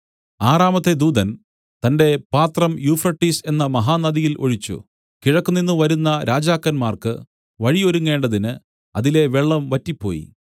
ആറാമത്തെ ദൂതൻ തന്റെ പാത്രം യൂഫ്രട്ടീസ് എന്ന മഹാനദിയിൽ ഒഴിച്ചു കിഴക്ക് നിന്നു വരുന്ന രാജാക്കന്മാർക്കു വഴി ഒരുങ്ങേണ്ടതിന് അതിലെ വെള്ളം വറ്റിപ്പോയി